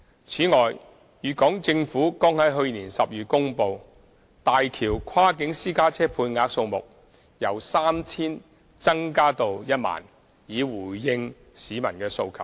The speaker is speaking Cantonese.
此外，粵港政府剛在去年12月公布大橋跨境私家車配額數目由 3,000 增加至 10,000， 以回應市民的需求。